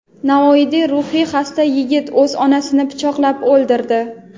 Navoiyda ruhiy xasta yigit o‘z onasini pichoqlab o‘ldirdi.